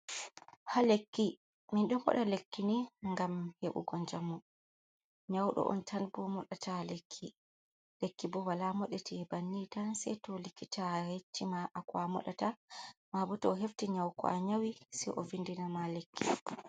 Ha lekki min don moda lekki ni gam heɓugo jamu. Nyaudo on tan moɗata lekki bo wala modatie banni tan sei to likkita hecci ma ko a modata. Ma bo to o hefti nyauko a nyawi se ovindina ma lekki.